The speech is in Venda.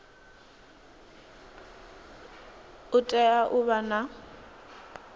u tea u vha na